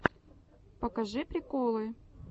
покажи приколы